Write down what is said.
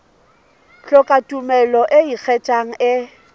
hloka tumello e ikgethang e